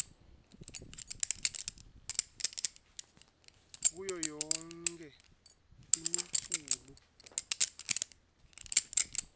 kuyo yonkhe imiculu